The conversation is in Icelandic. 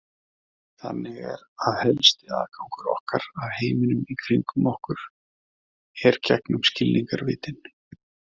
Þannig er að helsti aðgangur okkar að heiminum í kringum okkur er gegnum skilningarvitin.